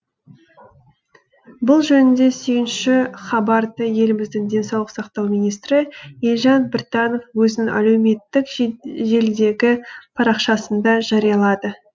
бұл жөнінде сүйінші хабарды еліміздің денсаулық сақтау министрі елжан біртанов өзінің әлеуметтк желідегі парақшасында жариялады